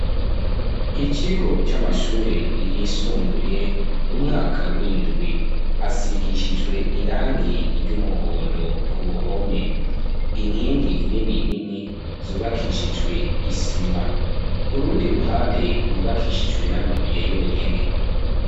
Ikigo c'amashure yisumbuye umwaka w'indwi asigishijwe irangi ry'umuhondo ku ruhome inkingi nini nini zubakishijwe isima urundi ruhande rwubakishijwe n'amabuye yonyene.